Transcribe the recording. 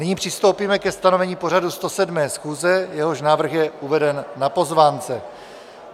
Nyní přistoupíme ke stanovení pořadu 107. schůze, jehož návrh je uveden na pozvánce.